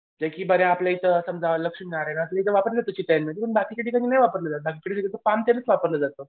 जे की आपल्या इथं समजा बाकी कधी नाही वापरलेलं पामतेलच वापरलं जातं.